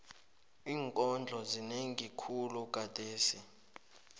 iinkondlo zinengi khulu gadesi